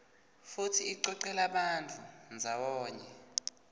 futsi icocela bantfu ndzawonye